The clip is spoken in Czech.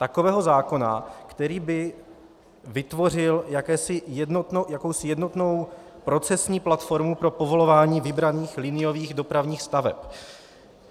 Takového zákona, který by vytvořil jakousi jednotnou procesní platformu pro povolování vybraných liniových dopravních staveb.